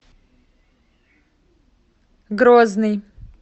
грозный